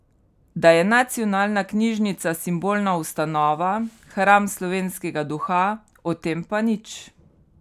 Da je nacionalna knjižnica simbolna ustanova, hram slovenskega duha, o tem pač nič.